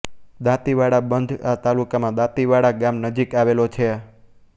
દાંતીવાડા બંધ આ તાલુકામાં દાંતીવાડા ગામ નજીક આવેલો છે